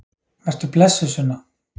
Vertu blessuð, Sunna.